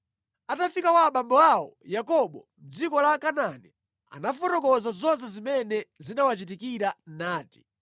Atafika kwa abambo awo Yakobo mʼdziko la Kanaani anafotokoza zonse zimene zinawachitikira nati,